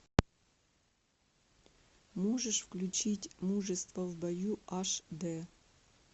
можешь включить мужество в бою аш д